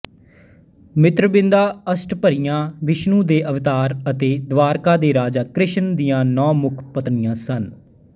ਮਿਤ੍ਰਵਿੰਦਾ ਅਸ਼ਟਭਰੀਆ ਵਿਸ਼ਨੂੰ ਦੇ ਅਵਤਾਰ ਅਤੇ ਦਵਾਰਕਾ ਦੇ ਰਾਜਾ ਕ੍ਰਿਸ਼ਨ ਦੀਆਂ ਨੌ ਮੁੱਖ ਪਤਨੀਆਂ ਸਨ